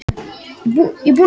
Umferðin gengur vel